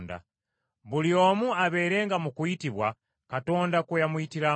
Buli omu abeerenga mu kuyitibwa Katonda kwe yamuyitiramu.